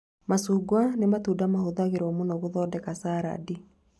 Macunga nĩ matunda mahũthagĩrwo mũno gũthondeka carandi